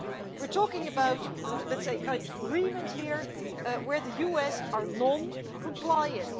We are talking about a kind of agreement here in which the USA is non compliant.